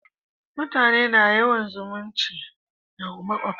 mutane na yawan zumunci da makwabta